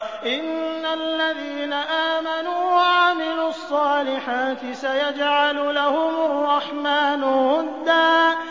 إِنَّ الَّذِينَ آمَنُوا وَعَمِلُوا الصَّالِحَاتِ سَيَجْعَلُ لَهُمُ الرَّحْمَٰنُ وُدًّا